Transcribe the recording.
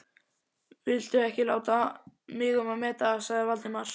Viltu ekki láta mig um að meta það sagði Valdimar.